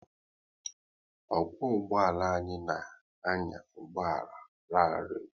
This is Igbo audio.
Ọkwo ụgbọala anyị na anya ụgbọala rarii